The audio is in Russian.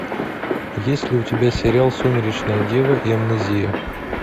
есть ли у тебя сериал сумеречная дева и амнезия